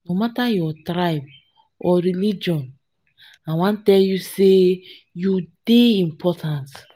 no mata your tribe or religion i wan tell you say you dey important.